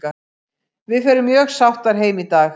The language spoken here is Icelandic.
Við förum mjög sáttar heim í dag.